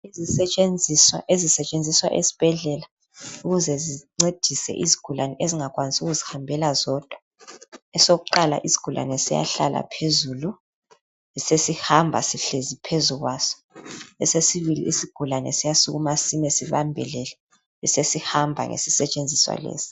Izisetshenziswa ezisetshenziswa esibhedlela ukuze zincedise izigulane ezingakwanisi ukuzihambela zodwa. Esokuqala isigulane siyahlala phezulu besesihamba sihlezi phezukwaso, esesibili isigulane siyasukuma sime sibambelele besesihamba ngesisetshenziswa lesi.